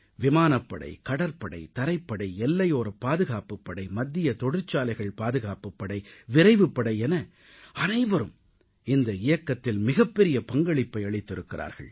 விமானப்படை கடற்படை தரைப்படை எல்லையோர பாதுகாப்புப் படை மத்திய தொழிற்சாலைகள் பாதுகாப்புப் படை விரைவுப்படை என அனைவரும் இந்த இயக்கத்தில் மிகப்பெரிய பங்களிப்பை அளித்திருக்கிறார்கள்